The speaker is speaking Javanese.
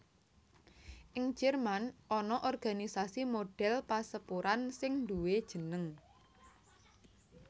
Ing Jerman ana organisasi modèl pasepuran sing nduwé jeneng